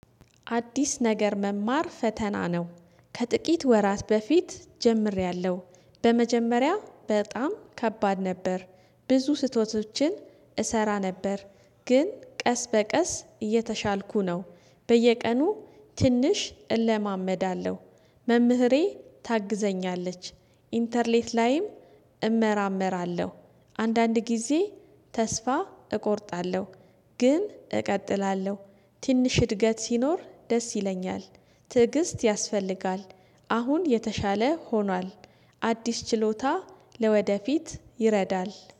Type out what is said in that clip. አዲስ ነገር መማር ፈተና ነው። ከጥቂት ወራት በፊት ጀምሬያለሁ። በመጀመሪያ በጣም ከባድ ነበር። ብዙ ስህተቶችን እሰራ ነበር። ግን ቀስ በቀስ እየተሻልኩ ነው በየቀኑ ትንሽ እለማመዳለሁ። መምህሬ ታግዘኛለች ኢንተርኔት ላይም እመራመራለሁ። አንዳንድ ጊዜ ተስፋ እቆርጣለሁ ግን እቀጥላለሁ። ትንሽ እድገት ሲኖር ደስ ይለኛል። ትዕግስት ያስፈልጋል። አሁን የተሻለ ሆኗል። አዲስ ችሎታ ለወደፊት ይረዳል